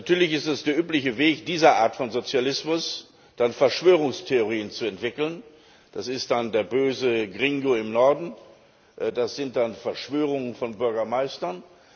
Natürlich ist es der übliche Weg dieser Art von Sozialismus, dann Verschwörungstheorien zu entwickeln das ist dann der böse Gringo im Norden, das sind dann Verschwörungen von Bürgermeistern.